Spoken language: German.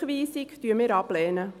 Eine Rückweisung lehnen wir ab.